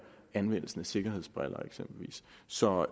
anvendelsen af eksempelvis sikkerhedsbriller så